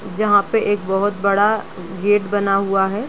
जहां पे एक बहुत बड़ा गेट बना हुआ है।